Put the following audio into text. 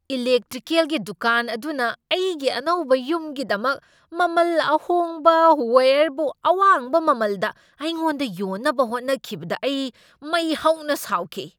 ꯏꯂꯦꯛꯇ꯭ꯔꯤꯀꯦꯜꯒꯤ ꯗꯨꯀꯥꯟ ꯑꯗꯨꯅ ꯑꯩꯒꯤ ꯑꯅꯧꯕ ꯌꯨꯝꯒꯤꯗꯃꯛ ꯃꯃꯜ ꯑꯍꯣꯡꯕ ꯋꯥꯌꯔꯕꯨ ꯑꯋꯥꯡꯕ ꯃꯃꯜꯗ ꯑꯩꯉꯣꯟꯗ ꯌꯣꯟꯅꯕ ꯍꯣꯠꯅꯈꯤꯕꯗ ꯑꯩ ꯃꯩ ꯍꯧꯅ ꯁꯥꯎꯈꯤ꯫